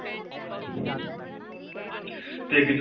ਤੇ ਅੱਗੇ.